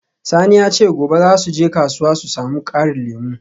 Sani ya ce gobe za su je kasuwa su samu karin lemu.